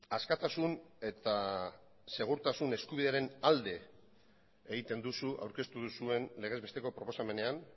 askatasun eta segurtasun eskubidearen alde egiten duzu aurkeztu duzuen legez besteko proposamenean